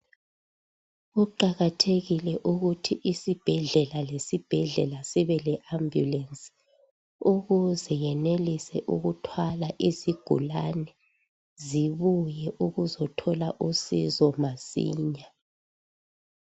Kuqakathekile ukuthi isibhedlela lesibhedlela sibe leambulance ukuze yenelise ukuthwala izigulane zibuye ukuzothola usizo masinya.